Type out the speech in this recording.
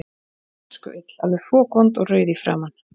Hún var öskuill, alveg fokvond og rauð í framan.